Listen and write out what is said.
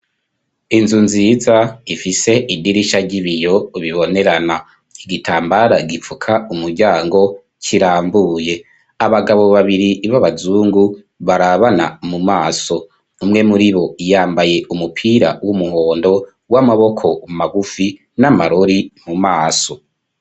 Inzu nziza ifise idirisha ry'ibiyo bibonerana igitambara gipfuka umuryango kirambuye abagabo babiri b'abazungu barabana mu maso umwe muribo yambaye umupira w'umuhondo w'amaboko magufi n'amarori mu maso.